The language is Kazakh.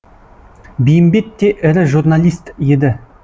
бейімбет те ірі журналист еді